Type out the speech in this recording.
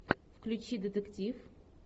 включи детектив